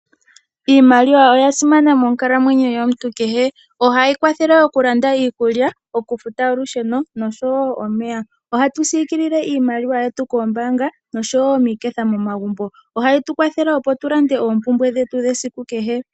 Iimaliwa oya simana monkalamwenyo yomuntu kehe. Ohayi kwathele okulanda iikulya, okufuta olusheno, noshowo omeya. Ohatu siikilile iimaliwa yetu koombaanga, noshowo miiketha momagumbo. Ohayi tukwathele opo tulande oompumbwe dhetu dhesiku kehe.